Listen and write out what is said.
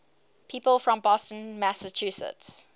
people from boston massachusetts